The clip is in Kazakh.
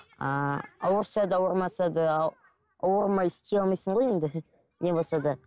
ыыы ауырса да ауырмаса да ауырмай істей алмайсың ғой енді не болса да